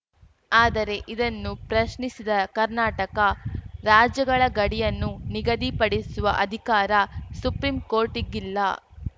ಆದರೆ ಇದನ್ನು ಪ್ರಶ್ನಿಸಿದ ಕರ್ನಾಟಕ ರಾಜ್ಯಗಳ ಗಡಿಯನ್ನು ನಿಗದಿಪಡಿಸುವ ಅಧಿಕಾರ ಸುಪ್ರೀಂ ಕೋರ್ಟ್‌ಗಿಲ್ಲ